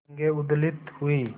तरंगे उद्वेलित हुई